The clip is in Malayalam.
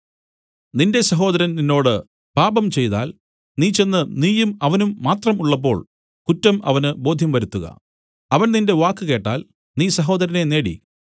നിന്റെ സഹോദരൻ നിന്നോട് പാപം ചെയ്താൽ നീ ചെന്ന് നീയും അവനും മാത്രം ഉള്ളപ്പോൾ കുറ്റം അവന് ബോധ്യം വരുത്തുക അവൻ നിന്റെ വാക്ക് കേട്ടാൽ നീ സഹോദരനെ നേടി